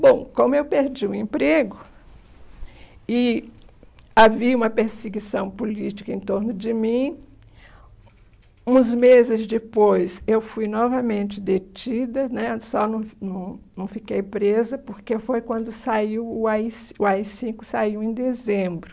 Bom, como eu perdi o emprego e havia uma perseguição política em torno de mim, uns meses depois eu fui novamente detida né, só não não não fiquei presa, porque foi quando o á i o á i cinco saiu em dezembro.